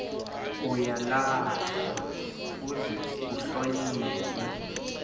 uyalahlwa kuze kuhlonyelwe